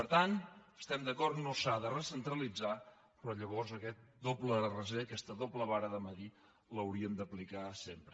per tant hi estem d’acord no s’ha de recentralitzar però llavors aquest doble raser aquesta doble vara de mesurar l’hauríem d’aplicar sempre